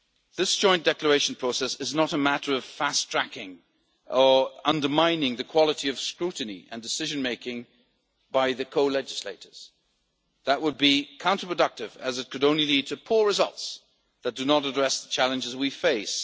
This joint declaration process is not a matter of fast tracking or undermining the quality of scrutiny and decision making by the co legislators. That would be counterproductive as it could only lead to poor results that do not address the challenges we face.